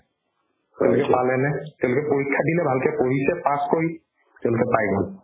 তেওঁলোকে পালেনে তেওঁলোকে পৰীক্ষা দিলে ভালকে পঢ়িছে pass কৰি তেওঁলোকে পাই গ'ল